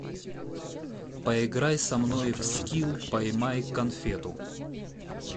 поиграй со мной в скилл поймай конфету